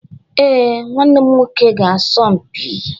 Ee, nwanne m nwoke ga-asọ mpi